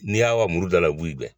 N' y'a wa muruda la o bi guɛn.